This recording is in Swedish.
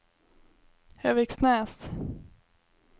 Höviksnäs